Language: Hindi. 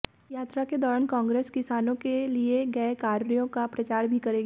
यात्रा के दौरान कांग्रेस किसानों के लिए गए कार्यों का प्रचार भी करेगी